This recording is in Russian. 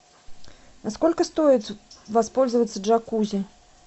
а сколько стоит воспользоваться джакузи